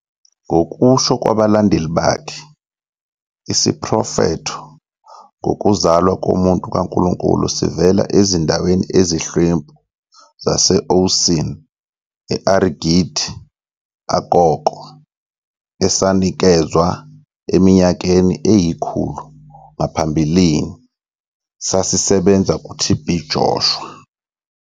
Ngokusho kwabalandeli bakhe, isiprofetho ngokuzalwa komuntu kaNkulunkulu sivela ezindaweni ezihlwempu zase-Oosin e-Arigidi Akoko esanikezwa eminyakeni eyikhulu ngaphambili sasisebenza kuT. B Joshua.